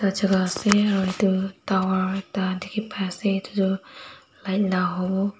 ase aru tower ekta dikhi pai ase etu toh light la howo.